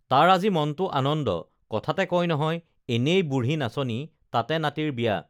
তাৰ আজি মনটো আনন্দ কথাতে কয় নহয় এনেই বুঢ়ী নাচনি তাতে নাতিৰ বিয়া